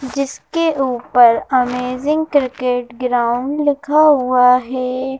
जिसके ऊपर amazing cricket ground लिखा हुआ है।